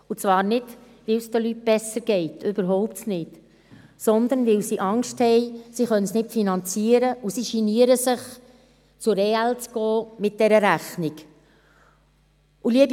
Nicht, weil es den Leuten besser geht – überhaupt nicht –, sondern, weil sie Angst haben, sie könnten es nicht finanzieren, und weil sie sich schämen, mit der Rechnung zur EL zu gehen.